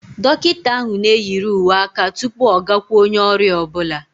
Dọkịta ahụ na-eyiri uwe aka tupu ọ gakwu onye ọrịa ọ bụla